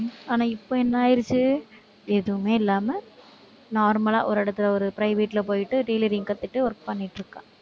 ஆனா, இப்ப என்ன ஆயிருச்சு எதுவுமே இல்லாம normal லா, ஒரு இடத்துல ஒரு private ல போயிட்டு tailoring கத்துட்டு, work பண்ணிட்டு இருக்கா